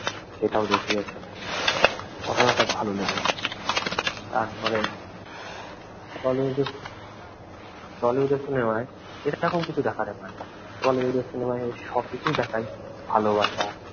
সেটাও দেখিয়েছে। ঘটনাটা ভালো লেগেছে। তারপরে টলিউডের টলিউডের সিনেমায় এরকম কিছু দেখাতে পারে না। টলিউডের সিনেমায় সব কিছুই দেখায়, ভালোবাসা